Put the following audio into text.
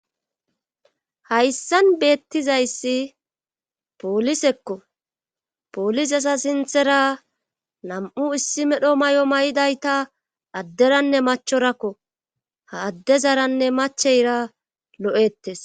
hayssan beettizayssi poolisekko poolizeza sinthera nam7u issi medho mayo maydayta adderanne machorakko ha adde zaranne macheyra lo7ettes.